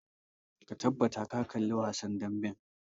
Ka tabbata ka kalli wasan damben!